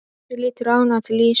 Bjössi lítur ánægður til Ásu.